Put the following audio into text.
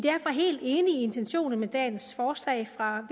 intentionerne i dagens forslag fra